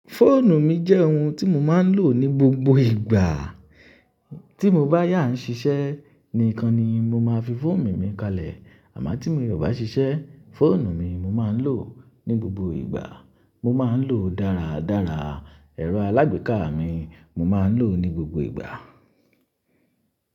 Fóònù mi jẹ́ ohun tí mo máa ń lò ní gbogbo ìgbà. Tí mo bá yá ń ṣiṣẹ́ nìkan ni mo máa fi fóònù mi kalẹ̀. Àmọ́ tí mo ò bá ṣiṣẹ́, fóònù mi mo máa ń lò ní gbogbo ìgbà. Mo máa ń lò ó dára dára. Ẹ̀rọ alágbèéká mi mo máa ń lò ó ní gbogbo ìgbà.